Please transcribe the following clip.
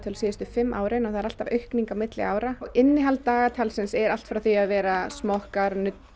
síðustu fimm árin og það er alltaf aukning milli ára innihald dagatalsins er allt frá því að vera smokkar